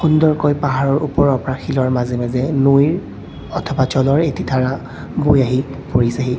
সুন্দৰকৈ পাহাৰৰ ওপৰৰ পৰা শিলৰ মাজে মাজে নৈৰ অথবা জলৰ এটি ধাৰা বৈ আহি পৰিছেহি।